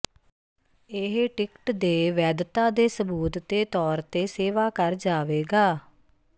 ਇਹ ਟਿਕਟ ਦੇ ਵੈਧਤਾ ਦੇ ਸਬੂਤ ਦੇ ਤੌਰ ਤੇ ਸੇਵਾ ਕਰ ਜਾਵੇਗਾ